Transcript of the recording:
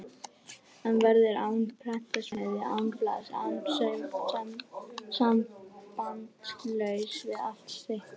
Hann verður án prentsmiðju, án blaðs og sambandslaus við allt sitt lið.